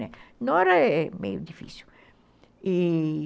Né, nora é é meio difícil, e